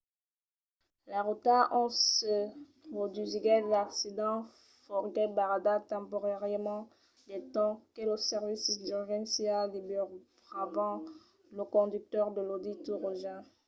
la rota ont se produsiguèt l'accident foguèt barrada temporàriament del temps que los servicis d'urgéncia liberavan lo conductor de l'audi tt roja